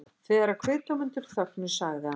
Þegar kviðdómendur þögnuðu sagði hann